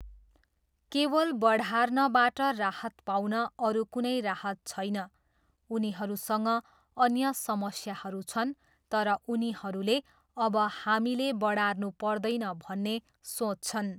केवल बढार्नबाट राहत पाउन अरु कुनै राहत छैन, उनीहरूसँग अन्य समस्याहरू छन् तर उनीहरूले अब हामीले बढार्नु पर्दैन भन्ने सोच्छन्।